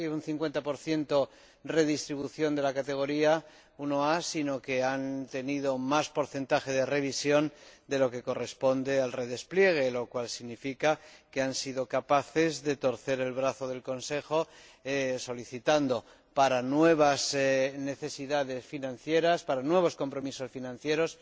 50 de redistribución de la rúbrica 1a, sino que han tenido más porcentaje de revisión de lo que corresponde al redespliegue, lo cual significa que han sido capaces de torcer el brazo del Consejo solicitando, para nuevas necesidades financieras, para nuevos compromisos financieros,